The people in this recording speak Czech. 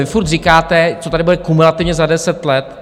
Vy pořád říkáte, co tady bude kumulativně za deset let.